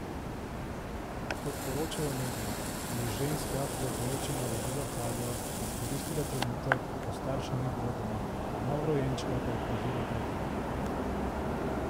Kot poročajo mediji, je ženska, preoblečena v belo haljo, izkoristila trenutek, ko staršev ni bilo doma, novorojenčka pa je pazila teta.